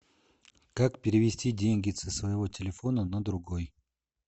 как перевести деньги со своего телефона на другой